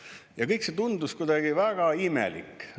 Ja kõik see tundus kuidagi väga imelik.